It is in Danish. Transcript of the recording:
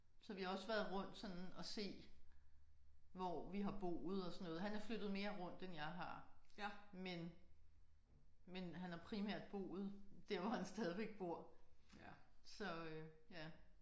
Så vi har også været rundt sådan og se hvor vi har boet og sådan noget. Han er flyttet mere rundt end jeg har men men han har primært boet der hvor han stadigvæk bor så ja